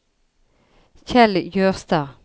Kjell Jørstad